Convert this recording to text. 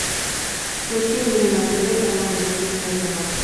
включи мне на тв канал восьмой канал